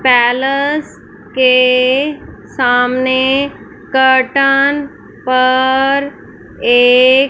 पैलस के सामने कर्टन पर एक--